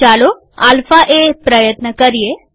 ચાલો આલ્ફા એ પ્રયત્ન કરીએ